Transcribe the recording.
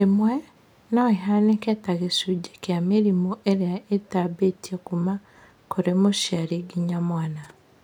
Rĩmwe , noũhanĩke ta gĩcunjĩ kĩa mĩrimũ ĩrĩa ĩtambĩtio kuma kũrĩ mũciari nginya mwana